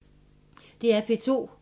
DR P2